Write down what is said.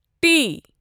T